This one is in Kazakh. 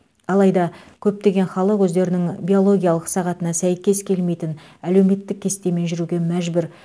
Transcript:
алайда көптеген халық өздерінің биологиялық сағатына сәйкес келмейтін әлеуметтік кестемен жүруге мәжбүр